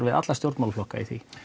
við alla stjórnmálaflokka í því